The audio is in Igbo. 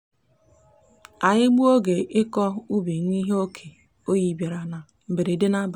anyị gburu oge ịkọ ubi n'ihi oke oyi biara na mberede n'abalị.